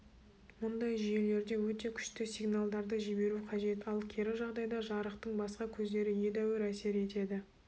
мұндай жүйелерде өте күшті сигналдарды жіберу қажет ал кері жағдайда жарықтың басқа көздері едәуір әсер етеді